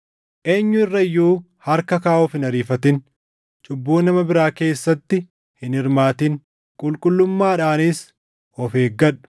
Eenyu irra iyyuu harka kaaʼuuf hin ariifatin; cubbuu nama biraa keessatti hin hirmaatin. Qulqullummaadhaanis of eeggadhu.